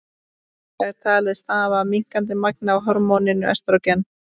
Þetta er talið stafa af minnkandi magni af hormóninu estrógen.